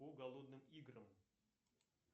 по голодным играм